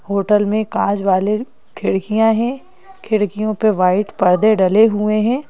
Hotel में काज वाले खिड़कियां हैं खिड़कियों पे वाइट पर्दे डले हुए हैं।